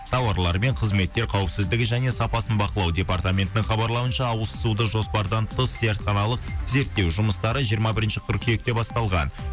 тауарлар мен қызметтер қауіпсіздігі және сапасын бақылау департаментінің хабарлауынша ауыз суды жоспардан тыс зертханалық зерттеу жұмыстары жиырма бірінші қыркүйекте басталған